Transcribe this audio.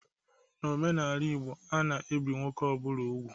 N'omenala Igbo a na-ebi nwoke ọ bụla úgwù.